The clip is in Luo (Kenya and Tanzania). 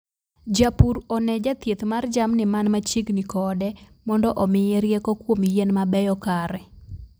Japur one jathieth mar jamni man machiegni kode mondo omiye rieko kuom yien mabeyo kare